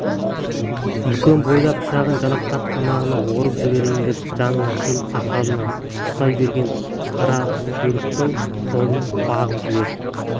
үлкен бұйда пышағын жалақтатып тамағынан орып жіберейін деп жанына келіп сақалынан ұстай берген қараүлектің қолын қағып жіберіп